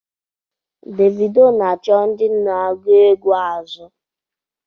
Davido na-achọ ndị na-agụ egwú azụ.